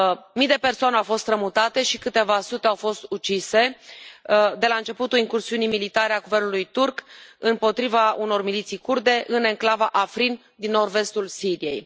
Mii de persoane au fost strămutate și câteva sute au fost ucise de la începutul incursiunii militare a Guvernului turc împotriva unor miliții kurde în enclava Afrin din nord vestul Siriei.